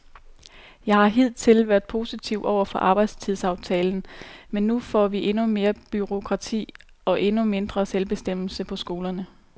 Jeg har hidtil været positiv over for arbejdstidsaftalen, men nu får vi endnu mere bureaukrati og endnu mindre selvbestemmelse på skolerne.